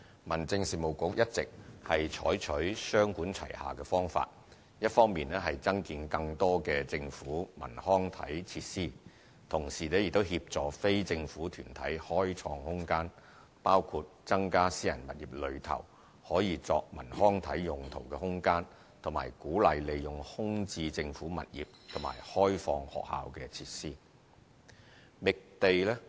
民政事務局一直採取雙管齊下的方法：一方面增建更多政府文康體設施，同時亦協助非政府團體開創空間，包括增加私人物業內可作文康體用途的空間，以及鼓勵利用空置政府物業和開放學校設施。